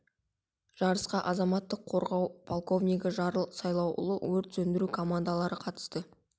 жарысқа азаматтық қорғау полковнигі жарыл сайлауұлы өрт сөндіру командалары қатысты